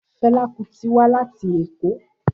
Fela Kuti wa lati Eko.